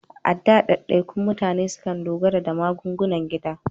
A da, daidaikun mutane sukan dogara da magungunan gida.